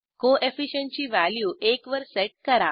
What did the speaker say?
co efficient ची value एक वर सेट करा